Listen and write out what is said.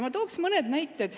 Ma toon mõne näite.